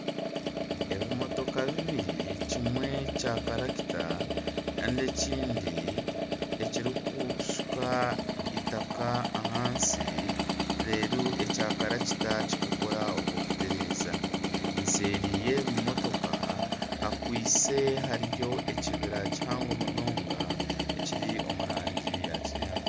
Ebimotoka bibiri kimwe Kya karakita Kandi ekindi ekirikushuka itaka ahansi reero ekyakarakita kikakora ogw'okutereeza nseeri y'ebimotoka hariyo ekibira kihango munonga ekiri omurangi eya kinyatsi